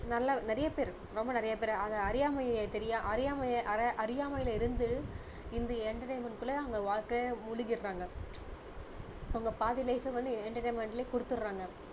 நல்ல நிறைய பேரு ரொம்ப நிறைய பேரு அதை அறியாமை தெரியாம அறியா~அறியாமையில இருந்து இந்த entertainment குள்ள அவங்க வாழ்க்கையை முழுகிடுறாங்க அவங்க பாதி life வ வந்து entertainment லயே கொடுத்திடுறாங்க